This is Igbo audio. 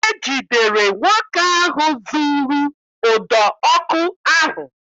E jidere nwoke ahụ zuuru ụdọ ọkụ ahụ